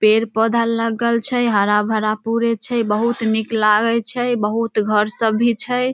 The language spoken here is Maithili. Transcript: पेड़-पौधा लगल छै हरा-भरा पुरे छै बहुत निक लागय छै बहुत घर सब भी छै।